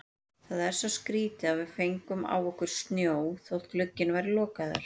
Það er svo skrýtið að við fengum á okkur snjó þótt glugginn væri lokaður.